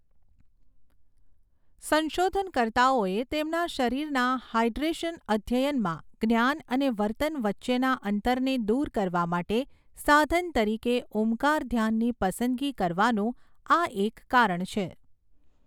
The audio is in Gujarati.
સંશોધનકર્તાઓએ તેમના શરીરના હાઇડ્રેશન અધ્યયનમાં જ્ઞાન અને વર્તન વચ્ચેના અંતરને દૂર કરવા માટે સાધન તરીકે ઓમકાર ધ્યાનની પસંદગી કરવાનું આ એક કારણ છે.